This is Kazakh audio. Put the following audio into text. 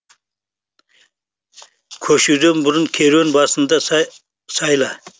көшуден бұрын керуен басыңды сайла